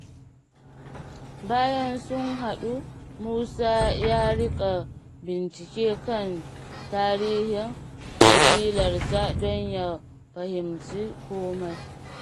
Bayan sun haɗu, Musa ya riƙa bincike kan tarihin kabilarsa don ya fahimci kome.